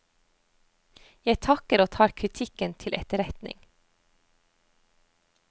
Jeg takker og tar kritikken til etterretning.